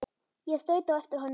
Ég þaut á eftir honum.